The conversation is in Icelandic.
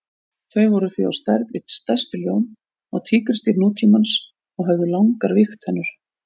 Þau voru því á stærð við stærstu ljón og tígrisdýr nútímans og höfðu langar vígtennur.